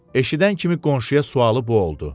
Eşidən kimi qonşuya sualı bu oldu: